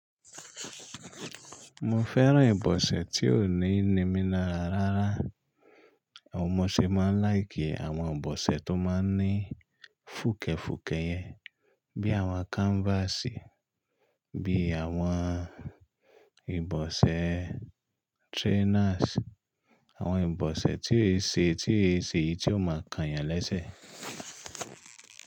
Mo fẹ́ran ìbọsẹ̀ tí ó ní nìmí larà rárá. N mọṣẹ́ máa ń láìkì àwọn ìbọsẹ̀ tó máa ń ní fùkẹ̀fùkẹ̀ yẹn bí àwọn kanfàsì, bí àwọn ìbọsẹ̀ trénásì, àwọn ìbọsẹ̀ tí ó ṣe tí ó ṣe yí tó máa kan ènìyàn lẹ́sẹ̀.